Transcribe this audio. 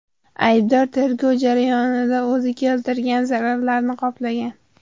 Aybdor tergov jarayonida o‘zi keltirgan zararlarni qoplagan.